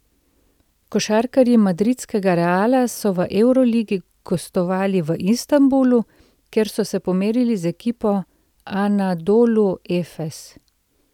Košarkarji madridskega Reala so v evroligi gostovali v Istanbulu, kjer so se pomerili z ekipo Anadolu Efes.